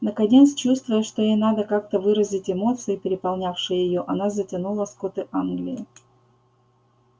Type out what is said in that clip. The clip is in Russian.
наконец чувствуя что ей надо как-то выразить эмоции переполнявшие её она затянула скоты англии